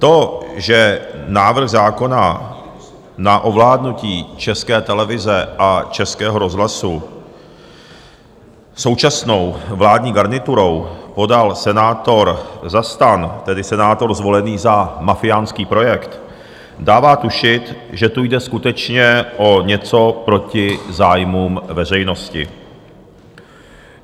To, že návrh zákona na ovládnutí České televize a Českého rozhlasu současnou vládní garniturou podal senátor za STAN, tedy senátor zvolený za mafiánský projekt, dává tušit, že tu jde skutečně o něco proti zájmům veřejnosti.